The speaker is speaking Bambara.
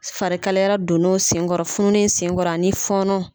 Farikalara don n'o senkɔrɔ fununnin in senkɔrɔ ani fɔɔnɔ.